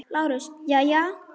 LÁRUS: Jæja!